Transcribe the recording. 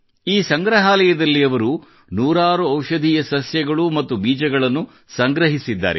ಈ ಸಂಗ್ರಹಾಲಯದಲ್ಲಿ ಅವರು ನೂರಾರು ಔಷಧೀಯ ಸಸ್ಯಗಳು ಮತ್ತು ಬೀಜಗಳನ್ನು ಸಂಗ್ರಹಿಸಿದ್ದಾರೆ